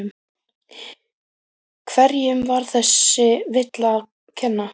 Hverjum var þessi villa að kenna?